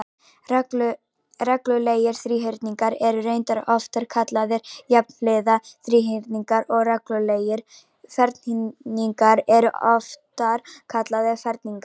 Reglulegir þríhyrningar eru reyndar oftar kallaðir jafnhliða þríhyrningar og reglulegir ferhyrningar eru oftar kallaðir ferningar.